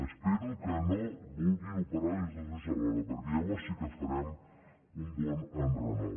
espero que no vulguin operar li els dos ulls alhora perquè llavors sí que farem un bon enrenou